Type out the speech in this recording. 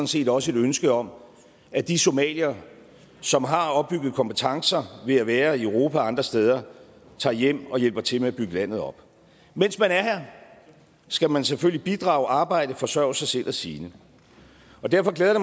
set også et ønske om at de somaliere som har opbygget kompetencer ved at være i europa og andre steder tager hjem og hjælper til med at bygge landet op mens man er her skal man selvfølgelig bidrage arbejde forsørge sig selv og sine og derfor glæder det